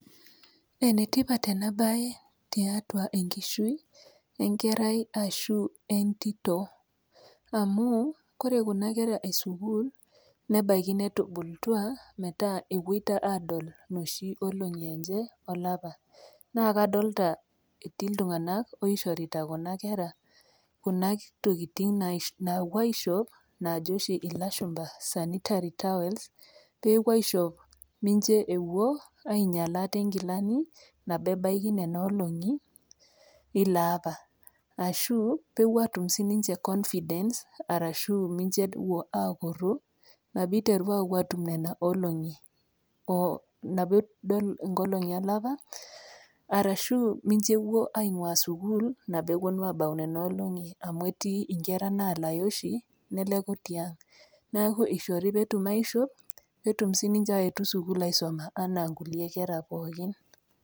Enetipat ena baye tiatua enkishui enkerai ashu entito amu, kore kuna kera e sukuul, nebaiki netubulutua metaa ewuoita aadol nooshi olong'i enye olapa, naa kadolita etii iltung'ana oshorita kuna kera kuna tokitin naapuo aishop naajo oshi ilashumba sanitary towels, pee epuo aishop pee mewuo ainyal aate inkilani nabo ebaya nena olong'i ilo aapa, ashu epuo aatum sininche convidence ashu mincho epuo aakuru nabo eiteru aapuo adol nena olong'i nabo edol ingolong'i olapa arashu mincho ewuo aing'waa sukuul nabo ewuo nu aabau nena olong'i amu etii inkera naalayu oshi neleku tiang', neaku eishori pee etum aishop pee etum sii ninche aetu sukuul aisomata anaa inkulie kera pookin.